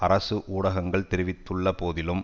அரசு ஊடகங்கள் தெரிவித்த போதிலும்